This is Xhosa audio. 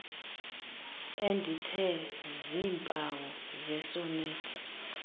endithe ziimpawu zesonethi